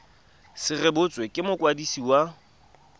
se rebotswe ke mokwadisi wa